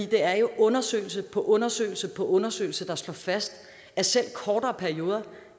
der er jo undersøgelse på undersøgelse på undersøgelse der slår fast at selv kortere perioder